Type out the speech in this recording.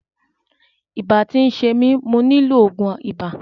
Ibà ti ń ṣe mi, mo nílò ògùn ibà.